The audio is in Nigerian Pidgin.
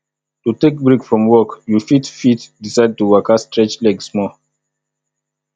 to take break from work you fit fit decide to waka stretch leg small